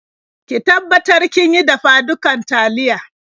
Ki tabbatar kin yi dafa-dukar taliya.